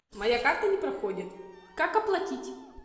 моя карта не проходит как оплатить